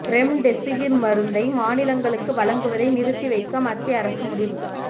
remdesivir மருந்தை மாநிலங்களுக்கு வழங்குவதை நிறுத்தி வைக்க மத்திய அரசு முடிவு